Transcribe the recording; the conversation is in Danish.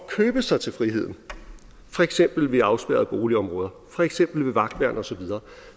at købe sig til friheden for eksempel ved at afspærre boligområder for eksempel ved vagtværn og så videre